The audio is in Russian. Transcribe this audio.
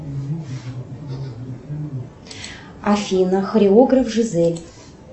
афина хореограф жизель